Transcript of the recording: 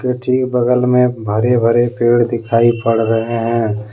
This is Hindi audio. ठीक बगल में हरे भरे पेड़ दिखाई पड़ रहे हैं।